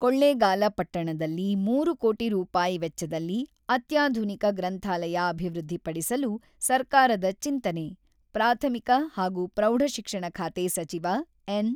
"ಕೊಳ್ಳೇಗಾಲ ಪಟ್ಟಣದಲ್ಲಿ ಮೂರು ಕೋಟಿ ರೂಪಾಯಿ ವೆಚ್ಚದಲ್ಲಿ ಅತ್ಯಾಧುನಿಕ ಗ್ರಂಥಾಲಯ ಅಭಿವೃದ್ಧಿಪಡಿಸಲು ಸರ್ಕಾರದ ಚಿಂತನೆ" – ಪ್ರಾಥಮಿಕ ಹಾಗೂ ಪ್ರೌಢಶಿಕ್ಷಣ ಖಾತೆ ಸಚಿವ ಎನ್.